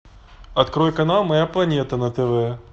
открой канал моя планета на тв